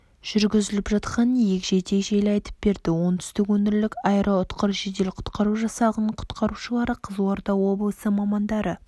жүргізіліп жатқанын егжей-тегжейлі айтып берді оңтүстік өңірлік аэроұтқыр жедел құтқару жасағының құтқарушылары қызылорда облысы мамандары